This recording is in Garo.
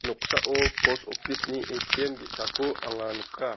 noksao pos office-ni A_T_M ge·sako anga nika.